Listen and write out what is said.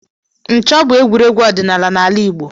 Nchọ̀ bụ egwuregwu ọdịnala n'ala Igbo.